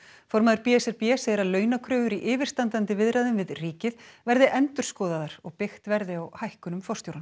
formaður b s r b segir að launakröfur í yfirstandandi viðræðum við ríkið verði endurskoðaðar og byggt verði á hækkunum forstjóranna